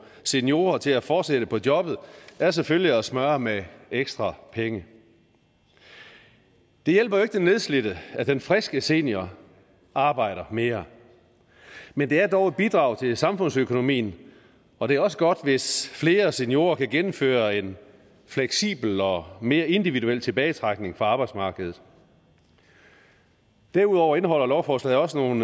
seniorer til at fortsætte på jobbet er selvfølgelig at smøre med ekstra penge det hjælper jo ikke den nedslidte at den friske senior arbejder mere men det er dog et bidrag til samfundsøkonomien og det er også godt hvis flere seniorer kan gennemføre en fleksibel og mere individuel tilbagetrækning fra arbejdsmarkedet derudover indeholder lovforslaget også nogle